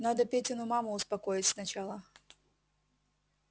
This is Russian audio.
надо петину маму успокоить сначала